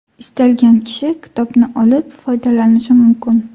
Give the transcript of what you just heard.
Istalgan kishi kitobni olib, foydalanishi mumkin.